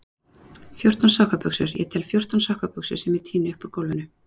Fjórtán sokkabuxur, ég tel fjórtán sokkabuxur sem ég tíni upp úr gólfinu.